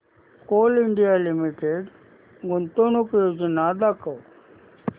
Coal India Limited गुंतवणूक योजना दाखव